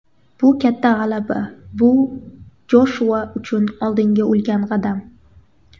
Bu katta g‘alaba, bu Joshua uchun oldinga ulkan qadam.